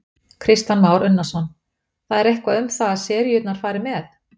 Kristján Már Unnarsson: Það er eitthvað um það að seríurnar fari með?